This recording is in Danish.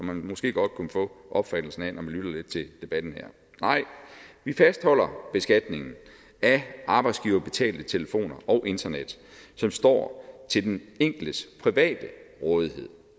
man måske godt kunne få opfattelsen af når man har lyttet til debatten her nej vi fastholder beskatningen af arbejdsgiverbetalt telefon og internet som står til den enkeltes private rådighed